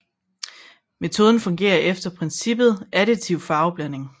Metoden fungerer efter princippet additiv farveblandning